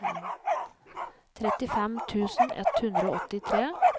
trettifem tusen ett hundre og åttitre